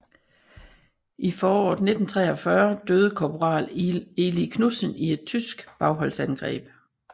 I foråret 1943 døde korporal Eli Knudsen i et tysk bagholdsangreb